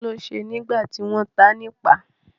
Kí ló ṣe nígbà tí wọ́n ta á nipa?